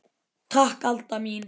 Takk Alda mín.